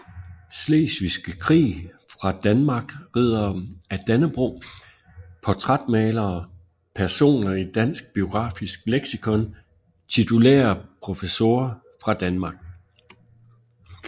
Slesvigske Krig fra Danmark Riddere af Dannebrog Portrætmalere Personer i Dansk Biografisk Leksikon Titulære professorer fra Danmark